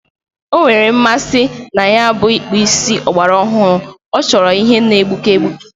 O nwere mmasi na ya bụ ịkpụ isi ọgbarọhụrụ, ọ chọrọ ihe na-egbuke egbuke